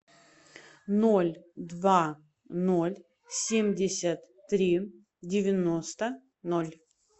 ноль два ноль семьдесят три девяносто ноль